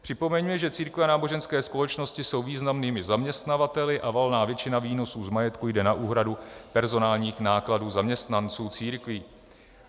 Připomeňme, že církve a náboženské společnosti jsou významnými zaměstnavateli a valná většina výnosů z majetku jde na úhradu personálních nákladů zaměstnanců církví.